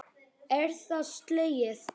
Er það slegið?